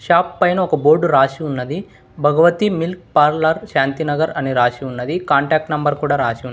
Shop పైన ఒక board రాసి ఉన్నది భగవతి మిల్క్ పార్లర్ శాంతినగర్ అని రాసి ఉన్నది కాంటాక్ట్ నెంబర్ కూడా రాసి.